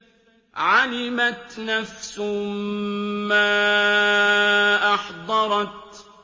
عَلِمَتْ نَفْسٌ مَّا أَحْضَرَتْ